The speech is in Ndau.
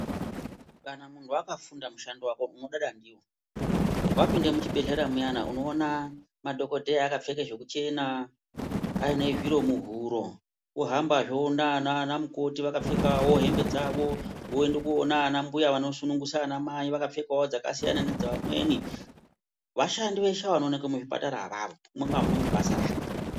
Kana munhu wakafunda mushando wako unodada ndiwo, wapinde muchibhedlera muyana unowone madhogodheya akapfeka zvekuchena aine zviro muhuro ohamba zve ,owona ana mukoti vakapfekawo hembe dzavo, woende kowone anambuya vanosungunisa anamai vakapfeka dzakasiyana nedzaamweni, vashandi veshe vanowonekwe muzvipatara mumwe neumwe unebasa rake.